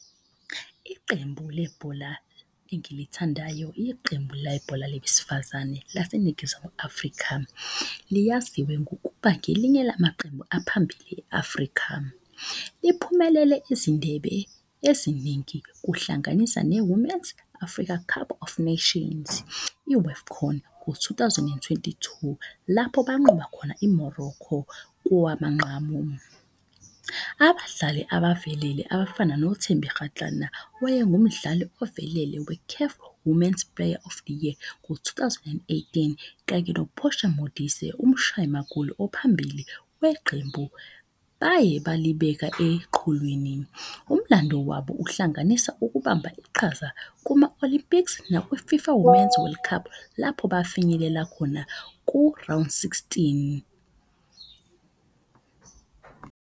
Iqembu lebhola engilithandayo, iqembu lebhola labesifazane laseNingizimu Afrika. Liyaziwe ngokuba ngelinye lamaqembu aphambili e-Afrika, liphumelele izindebe eziningi. Kuhlanganisa ne-Women's Afrika Cup of Nations, i-AFCON ngo-two thousand and twenty two. Lapho banqoba khona i-Morocco kowamanqamu. Abadlali abavelele abafana noThembi Kgatlana, wayengu umdlali ovelele we-CAF women's player of the year ngo-two thousand and eighteen. Kanye noPortia Modise umshayi magoli ophambili weqembu, baye balibeka eqhulwini. Umlando wabo uhlanganisa ukubamba iqhaza kuma-Olympics nakwi-FIFA Women's World Cup lapho bafinyelela khona ku-round sixteen.